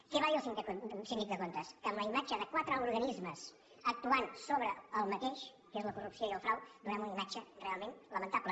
què va dir el síndic de comptes que amb la imatge de quatre organismes actuant sobre el mateix que és la corrupció i el frau donem una imatge realment lamentable